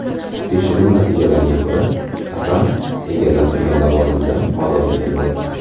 Tekshiruv natijalariga ko‘ra, Asanov egallab turgan lavozimidan ozod etildi.